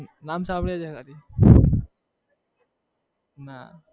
નામ સાંભળ્યું છે ખાલી ના